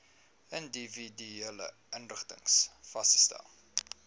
individuele inrigtings vasgestel